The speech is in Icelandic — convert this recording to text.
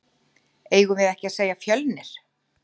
Eigum við ekki að segja Fjölnir?